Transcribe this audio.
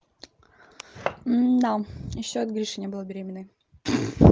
мда ещё от гриши не была беременной